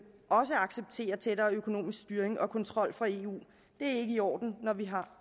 også accepterer tættere økonomisk styring og kontrol fra eu er ikke i orden når vi har